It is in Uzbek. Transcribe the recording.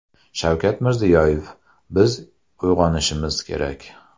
Shavkat Mirziyoyev: Biz uyg‘onishimiz kerak .